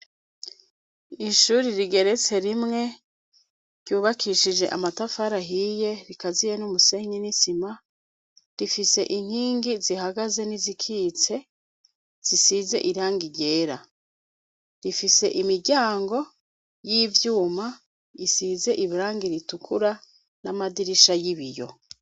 Ishuri rigeretse rimwe ryubakishije amatafara ahiye rikaziye n'umusenyi n'isima rifise inkingi zihagaze n'izikitse zisize irangi ryera rifise imiryango y'ivyuma isize irangi ritukura n'amadirisha y'ibiyo.